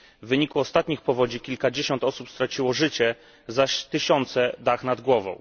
W wyniku ostatnich powodzi kilkadziesiąt osób straciło życie, zaś tysiące dach nad głową.